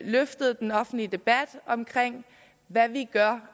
løftet den offentlige debat om hvad vi gør